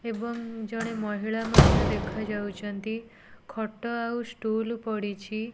ଏବଂ ଜଣେ ମହିଳା ମଧ୍ୟ ଦେଖାଯାଉଚନ୍ତି। ଖଟ ଆଉ ଷ୍ଟୁଲ ପଡିଛି।